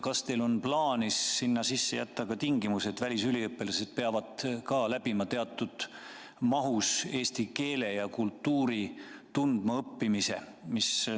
Kas teil on plaanis sinna sisse jätta ka tingimus, et välisüliõpilased peavad läbima teatud mahus eesti keele ja kultuuri tundmaõppimise?